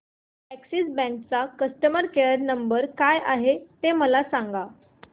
Axis bank चा customer care number काय आहे मला सांगा